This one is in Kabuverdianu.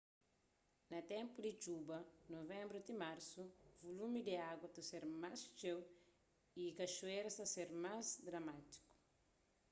na ténpu di txuba nuvenbru ti marsu vulumi di agu ta ser más txeu y kaxuéras ta ser más dramátiku